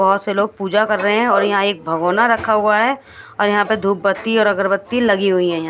बोहोत से लोग पूजा कर रहे है और यहाँ एक भगोना रखा हुआ है और यह पे एक बत्ती धुप बत्ती और अगरबत्ती लगी हुई है यहाँ--